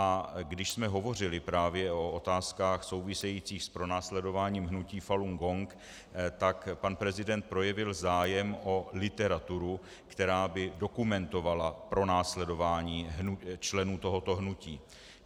A když jsme hovořili právě o otázkách souvisejících s pronásledováním hnutí Falun Gong, tak pan prezident projevil zájem o literaturu, která by dokumentovala pronásledování členů tohoto hnutí.